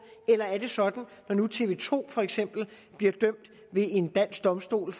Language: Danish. eller er det sådan at når nu tv to for eksempel bliver dømt ved en dansk domstol